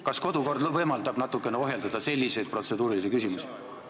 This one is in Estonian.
Kas kodukord võimaldab natukene selliseid protseduurilisi küsimusi ohjeldada?